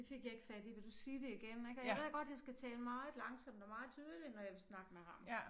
Det fik jeg ikke fat i vil du sige det igen ik og jeg ved godt jeg skal tale meget langsomt og meget tydeligt når jeg vil snakke med ham